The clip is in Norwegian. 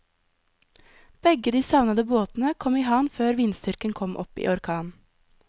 Begge de savnede båtene kom i havn før vindstyrken kom opp i orkan.